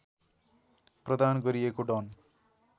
प्रदान गरिएको डन